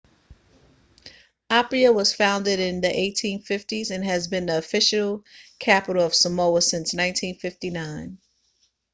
apia was founded in the 1850s and has been the official capital of samoa since 1959